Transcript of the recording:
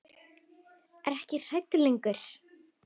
Er ekki hrædd lengur.